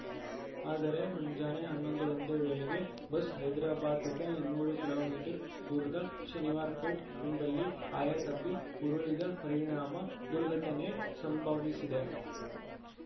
ಆದರೆ ಮುಂಜಾನೆ ಹನ್ನೊಂದು ಗಂಟೆ ವೇಳೆಗೆ ಬಸ್‌ ಹೈದ್ರಾಬಾದ್‌ನಿಂದ ಇನ್ನೂರು ಕಿಲೋ ಮೀಟರ್ ದೂರದ ಶನಿವಾರ್‌ಪೇಟ್‌ ಎಂಬಲ್ಲಿ ಆಯತಪ್ಪಿ ಉರುಳಿದ ಪರಿಣಾಮ ದುರ್ಘಟನೆ ಸಂಭವಿಸಿದೆ